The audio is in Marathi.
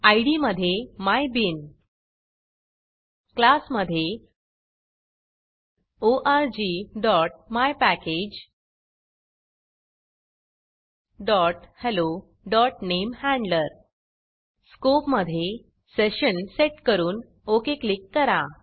इद मधे मायबीन क्लास मधे orgmypackagehelloनेमहँडलर स्कोप मधे सेशन सेट करून ओक क्लिक करा